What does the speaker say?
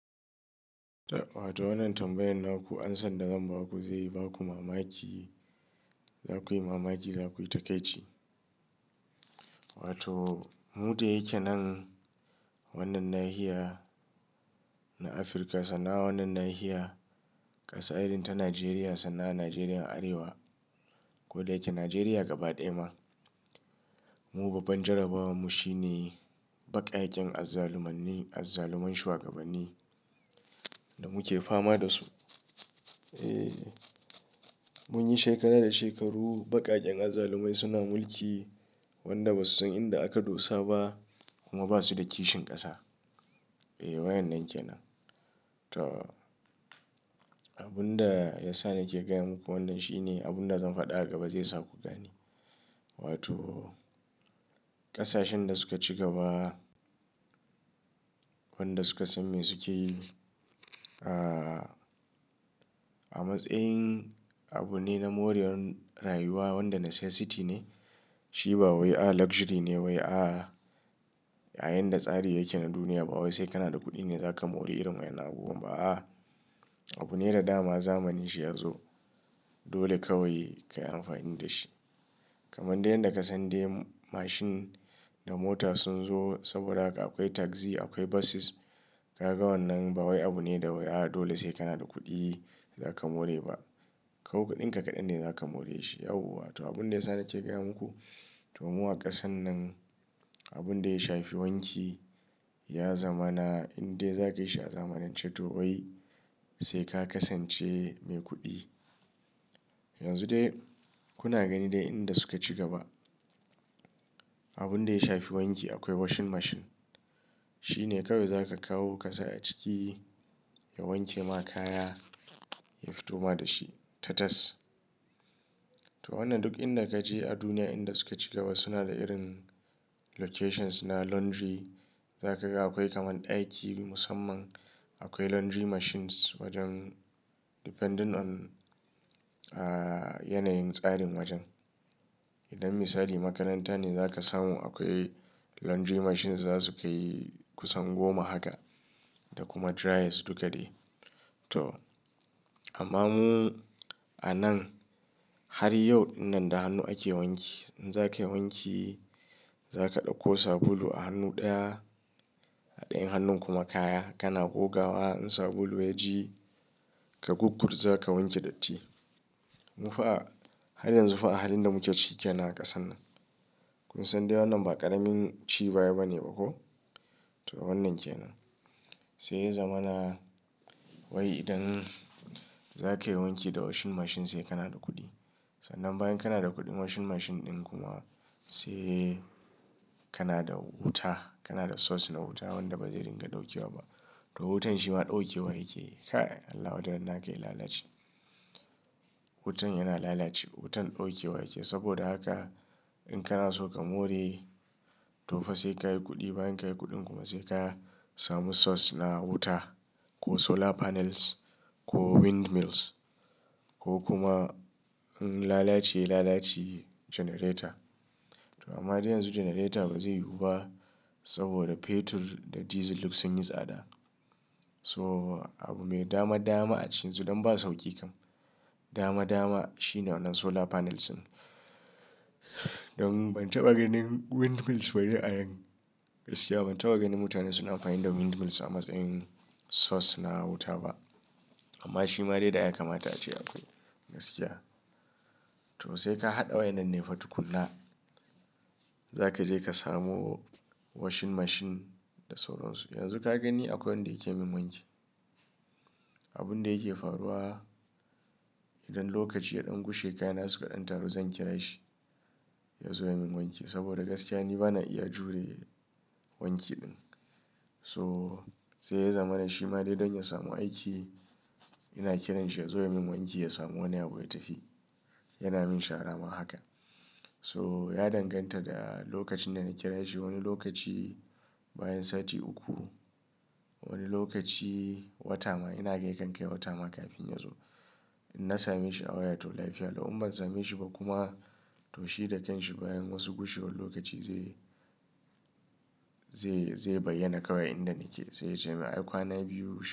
Wato wannan tambayan nan ku an san da zamba ku, zai ba ku mamaki, zakuyi mamaki, zakuyi takaici. Wato mu da yake nan wannan nahiya na Afirka, sannan wannan nahiya ƙasa irin ta Najeriya, sannan a Najeriya arewa, ko da yake Najeriya gaba ɗaya ma. Mu babban jarabawar mu shine baƙaƙen azzalumanni, azzaluman shugabanni da muke fama da su. Eeh, munyi shekara da shekaru baƙaƙen azzalumai suna mulki wanda ba su san inda aka dosa ba kuma ba su da kishin ƙasa. Eeh, wayan nan ke nan. To abun da ya sa na ke gaya muku wannan shine abun da zan faɗa a gaba zai sa ku gani. Wato ƙasashen da suka ci gaba, wanda su ka san me suke yi. Ah, a matsayin abu ne na morewar rayuwa wanda necessity ne. Shi ba wai a luxury ne wai a, yayinda tsari yake na duniya ba wai sai kana da kuɗi ne zaka more irin wayanan abubuwan ba a. Abu ne da dama zamani shi ya zo dole kawai ka amfani da shi. Kaman da yanda ka san dai mashin da mota sun zo saboda haka akwai taxi, akwai buses. Kaga wannan ba wai abu ne da wai a dole sai kana da kuɗi zaka more ba. Kawo kaɗin ka kaɗan ne zaka more shi yawa. To abun da ya sa na ke gaya muku, to mu a ƙasan nan abun da ya shafi wanki ya zamana in dai za ka yi shi a zamanance to wai sai ka kasance mai kuɗi. Yanzu dai kuna gani dai inda suka ci gaba. Abun da ya shafi wanki akwai washing machine. Shi ne kawai za ka kawo ka sa a ciki ya wanke ma kaya, ya fito ma da shi tatas. To wannan duk inda ka je a duniya inda suka cigaba suna da irin locations na laundry. Za ka ga akwai kaman ɗaki musamman, akwai laundry machines wajen depending on, ah yanayin tsarin wajen. Idan misali makaranta ne za ka samu akwai laundry machines za su kai kusan goma haka da kuma dryers duk da dai. To amma mu a nan har yau wannan da hannu ake wanki. In za ka yi wanki, za ka ɗauko sabulu a hannu ɗaya, a ɗayan hannun kuma kaya. Kana goga wa in sabulu ya ji ka gogorza ka wanke datti. Mu fa a, har yanzu fa a halin da muke ciki kenan a ƙasan nan. Kun san dai wannan ba ƙaramin ci baya bane ba ko? To wannan kenan. Sai ya zamana wai idan za ka yi wanki da washing machine sai kana da kuɗi. Sannan bayan kana da kuɗin washing machine ɗin kuma sai kana da wuta. Kana da source na wuta wanda ba zai dinga dauke wa ba. To wutan shi ma dauke wa yake. Kai Allah wadannan aka yi lalaci. Wutan yana lalaci, wutan dauke wa yake saboda haka in kana so ka more to fa sai ka yi kuɗi. Bayan ka yi kuɗin kuma sai ka samu source na wuta ko solar panels ko windmills ko kuma in lalaci lalaci generator. To amma dai yanzu generator ba zai yiwu ba saboda petrol da diesel duk sun yi tsada. So abu me dama dama a cikin su don ba sauki kam. Dama dama shi ne wannan solar panels ɗin. Don ban taɓa ganin windmills waje a yan gaskiya. Ban taɓa ganin mutane suna amfani da windmills a matsayin source na wuta ba. Amma shi ma dai da ya kamata ace akwai gaskiya. To sai ka haɗa wayannan ne fa tukuna. Za ka je ka samu washing machine da sauran su. Yanzu ka gani akwai wanda yake min wanki. Abun da yake faruwa idan lokaci ya ɗan gushe kayana suka ɗan taru zan kira shi ya zo ya min wanki saboda gaskiya ni bana iya jure wanki ɗin. So sai ya zamana shi ma dai don ya samu aiki ina kiranshi ya zo ya min wanki ya samu wani abu ya tafi. Yana min shara ma haka. So ya danganta da lokacin da na kira shi. Wani lokaci bayan sati uku, wani lokaci wata ma. Ina gan ya kan kai wata ma kafin ya zo. In na same shi a waya to lafiya lau. In ban same shi ba kuma to shi da kanshi bayan wasu gushuwun lokaci zai, zai, zai bayyana kawai inda nake. Sai ya ce ma ai kwana biyu shi.